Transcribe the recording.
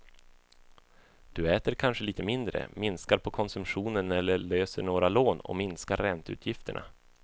Du äter kanske lite mindre, minskar på konsumtionen eller löser några lån och minskar ränteutgifterna.